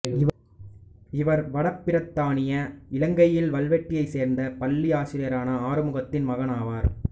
இவர் வட பிரித்தானிய இலங்கையில் வல்வெட்டியைச் சேர்ந்த பள்ளி ஆசிரியரான ஆறுமுகத்தின் மகன் ஆவார்